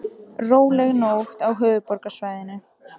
Róleg nótt á höfuðborgarsvæðinu